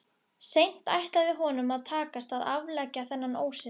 Seint ætlaði honum að takast að afleggja þennan ósið.